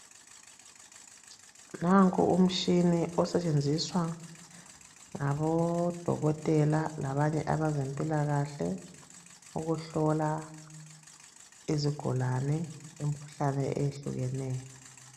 Nanko umshini osetshenziswa ngabodokotela labanye abazempilakahle ukuhlola izigulane, lemkhuhlane eyehlukeneyo.